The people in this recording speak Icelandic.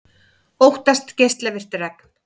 Óttast geislavirkt regn